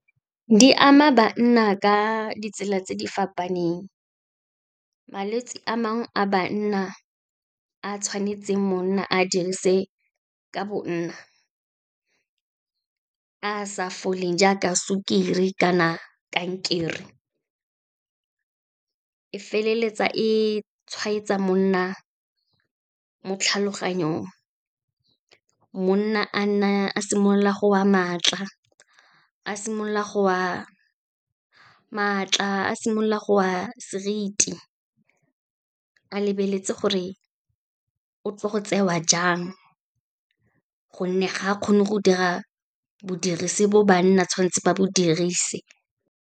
Di ama banna ka ditsela tse di fapaneng. Malwetse a mangwe a banna a tshwanetseng monna a a dirise ka bonna, a a sa foleng, jaaka sukiri kana kankere, e feleletsa e tshwaetsa monna mo tlhaloganyong. Monna a simolola go wa maatla, a simolola go wa seriti, a lebeletse gore o tlo go tsewa jang, gonne ga a kgone go dira bodirisi bo banna tshwanetse ba bo dirise.